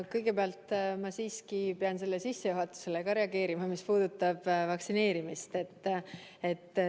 Kõigepealt ma siiski pean reageerima ka sellele sissejuhatusele, mis puudutab vaktsineerimist.